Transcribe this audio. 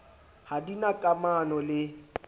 ha di na kamano le